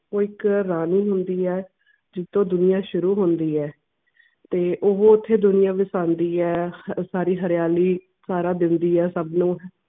ਤੇ ਇੱਕ ਰਾਣੀ ਹੁੰਦੀ ਐ ਜਿੱਥੇ ਦੁਨੀਆ ਸ਼ੁਰੂ ਹੁੰਦੀ ਐ ਤੇ ਓਹੋ ਓਥੇ ਦੁਨੀਆ ਨੂੰ ਕਹਿੰਦੀ ਐ ਸਾਰੀ ਹਰਿਆਲੀ ਸਾਰਾ ਸੱਬ ਲੋਗ